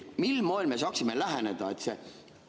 Mil moel me saaksime läheneda?